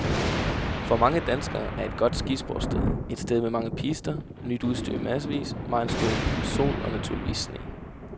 For mange danskere er et godt skisportssted et sted med mange pister, nyt udstyr i massevis, megen sol og naturligvis sne.